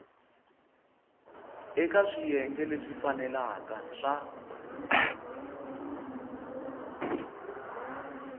eka swiyenge leswi faneleke swa